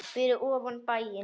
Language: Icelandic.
Fyrir ofan bæinn.